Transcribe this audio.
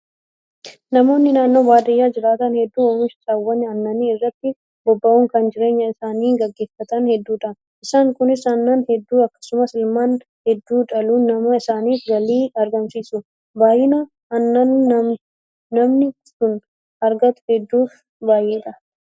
Namoonni naannoo baadiyyaa jiraatan hedduun oomisha saawwan aannanii irratti bobba'uun kan jireenya isaanii gaggeeffatan hedduudha. Isaan Kunis aannan hedduu akkasumas ilmaan hedduu dhaluun nama sanaaf galii argamsiisu. Baay'ina aannanii namni sun argatu hedduu fi baay'eedha.